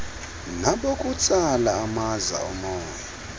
nabokutsala amaza omoya